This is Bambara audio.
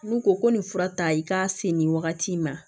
N'u ko ko nin fura ta i ka se nin wagati ma